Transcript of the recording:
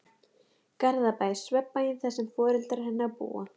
Garðabæ, svefnbæinn þar sem foreldrar hennar búa.